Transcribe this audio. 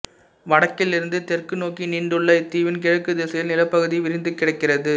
வடக்கிலிருந்து தெற்கு நோக்கி நீண்டுள்ள இத்தீவின் கிழக்குத் திசையில் நிலப்பகுதி விரிந்து கிடக்கிறது